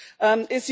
lautet.